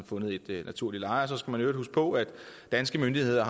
fundet et naturligt leje og så skal man jo i øvrigt huske på at danske myndigheder